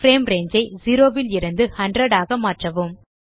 frame range ஐ 0 லிருந்து 100 ஆக மாற்றவும்